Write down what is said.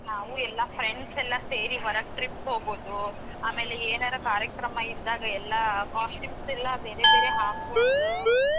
ನಾವೂ ಎಲ್ಲಾ friends ಎಲ್ಲಾ ಸೇರಿ ಹೊರಗ್ trip ಹೋಗೋದು ಅಮ್ಯಾಗ ಎನಾರ ಕಾರ್ಯಕ್ರಮ ಇದ್ದಾಗ ಎಲ್ಲಾ costumes ಎಲ್ಲಾ ಬೇರೆ ಬೇರೆ ಹಾಕೊಂಡು.